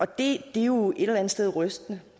det er jo et eller andet sted rystende